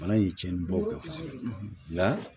Bana in ye cɛnlibaw kɛ kosɛbɛ nka